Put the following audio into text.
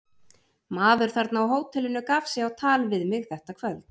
Maður þarna á hótelinu gaf sig á tal við mig þetta kvöld.